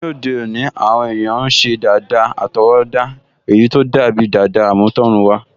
Ní òde òní, àwọn èèyàn n ṣe dàda àtọwọ́dá èyí tó dàbi dàda àmútọ̀runwá